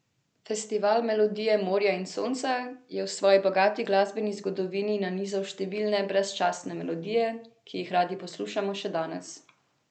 Festival Melodije morja in sonca je v svoji bogati glasbeni zgodovini nanizal številne brezčasne melodije, ki jih radi poslušamo še danes.